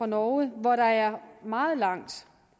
norge hvor der er meget langt